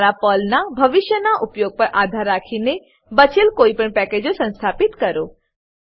તમારા પર્લનાં ભવિષ્યના ઉપયોગ પર આધાર રાખીને બચેલ કોઈપણ પેકેજો સંસ્થાપિત કરો